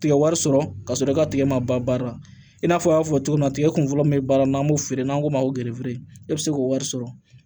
Tigɛ wari sɔrɔ ka sɔrɔ i ka tigɛ ma ban baara la i n'a fɔ an y'a fɔ cogo min na tigɛ kun fɔlɔ min be baara la n'an b'o feere n'an k'o ma ko e bɛ se k'o wari sɔrɔ